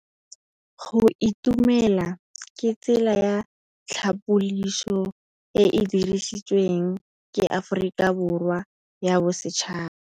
Go itumela ke tsela ya tlhapolisô e e dirisitsweng ke Aforika Borwa ya Bosetšhaba.